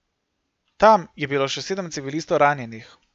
Tam je bilo še sedem civilistov ranjenih.